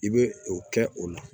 I bɛ o kɛ o la